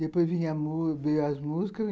Depois veio as músicas